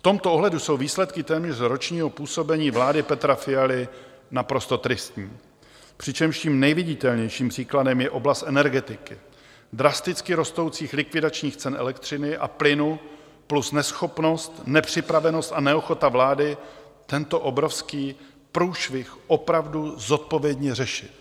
V tomto ohledu jsou výsledky téměř ročního působení vlády Petra Fialy naprosto tristní, přičemž tím nejviditelnějším příkladem je oblast energetiky, drasticky rostoucích, likvidačních cen elektřiny a plynu plus neschopnost, nepřipravenost a neochota vlády tento obrovský průšvih opravdu zodpovědně řešit.